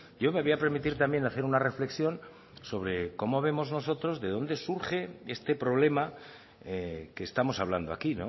yo me voy a permitir también hacer una reflexión sobre cómo vemos nosotros de dónde surge este problema que estamos hablando aquí